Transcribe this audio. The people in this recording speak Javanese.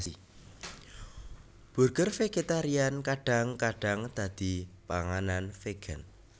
Burger vegetarian kadang kadang dadi panganan vegan